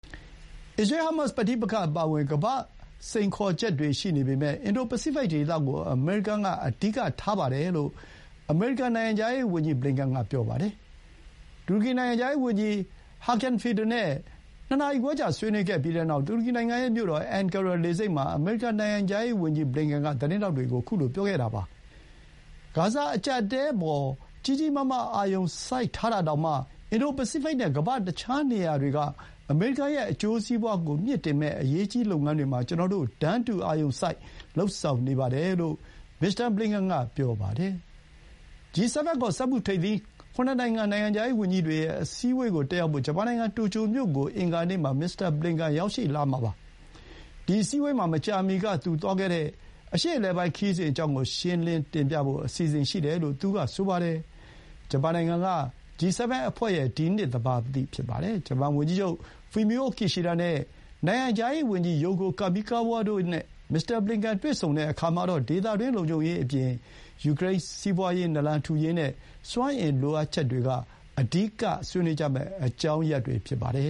အစ္စရေး-ဟားမတ်စ် ပဋိပက္ခအပါအဝင် ကမ္ဘာ့ စိန်ခေါ်ချက်တွေ ရှိနေပေမဲ့ အင်ဒိုပစိဖိတ်ဒေသကို အမေရိကန်က အဓိကထားပါတယ်လို့ အမေရိကန်နိုင်ငံခြားရေးဝန်ကြီးက ပြောပါတယ်။ တူရကီနိုင်ငံခြားရေးဝန်ကြီး ဟာကင်န် ဖီဒန် (Hakan Fidan) နဲ့ ၂ နာရီခွဲကြာ ဆွေးနွေးပြီးနောက် တူရကီနိုင်ငံရဲ့မြို့တော် အင်န်ကာရာလေဆိပ်မှာ အမေရိကန်နိုင်ငံခြားရေးဝန်ကြီး ဘလင်ကန်က ပြောလိုက်တာပါ။ “ဂါဇာ အကြပ်အတည်းအပေါ် ကြီးကြီးမားမား အာရုံစိုက်ထားတာတောင်မှ အင်ဒိုပစိဖိတ်နဲ့ ကမ္ဘာ့ တခြားနေရာတွေက အမေရိကန်ရဲ့ အကျိုးစီးပွါးကို မြှင့်တင်မယ့် အရေးကြီးလုပ်ငန်းတွေမှာ ကျနော်တို့ တန်းတူ အာရုံစိုက်လုပ်ဆောင်နေပါတယ်” လို့ မစ္စတာ ဘလင်ကန် က ပြောပါတယ်။ G-7 ခေါ် စက်မှုထိပ်သီး ၇ နိုင်ငံ နိုင်ငံခြားရေးဝန်ကြီးတွေရဲ့ အစည်းအဝေးကိုတက်ရောက်ဖို့ ဂျပန်နိုင်ငံ တိုကျိုမြို့ကို အင်္ဂါနေ့ မှာ မစ္စတာဘလင်ကန်ရောက်လာမှာပါ။ ဒီ အစည်းအဝေးမှာ မကြာမီက သူ သွားခဲ့တဲ့ အရှေ့အလယ်ပိုင်းခရီးစဥ်အကြောင်းကို ရှင်းလင်းတင်ပြဖို့ အစီအစဥ်ရှိတယ်လို့ သူက ဆိုပါတယ်။ ဂျပန်နိုင်ငံက G-7 အဖွဲ့ရဲ့ ဒီနှစ်သဘာပတိဖြစ်ပါတယ်။ ဂျပန်ဝန်ကြီးချုပ် ဖူမီအိုကီရှီဒါ Fumio Kishida နဲ့ နိုင်ငံခြားရေးဝန်ကြီး ယိုကို ကာမီကာဝါး Yoko Kamikawa တို့ နဲ့ မစ္စတာ ဘလင်ကန်တွေ့ဆုံတဲ့အခါ ဒေသတွင်းလုံခြုံရေးအပြင် ယူကရိန်း စီးပွါးရေး နာလန်ထူရေးနဲ့ စွမ်းအင်လိုအပ်ချက်တွေက အဓိက ဆွေးနွေးကြမယ့်အကြောင်းရပ်တွေ ဖြစ်ပါတယ